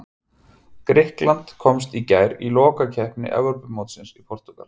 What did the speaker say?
Grikkland komst í gær í lokakeppni Evrópumótsins í Portúgal.